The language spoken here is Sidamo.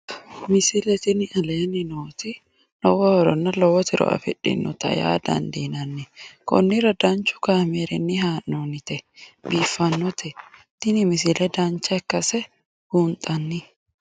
misile tini aleenni nooti lowo horonna lowo tiro afidhinote yaa dandiinanni konnira danchu kaameerinni haa'noonnite biiffannote tini misile dancha ikkase buunxanni